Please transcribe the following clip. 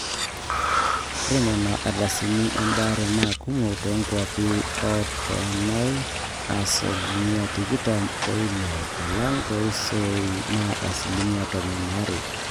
ore nena ardasini embaare naa kumok toonkuapi oontaoni aa asilimia tikitam oile alang tooseroi naa asilimia tomon aare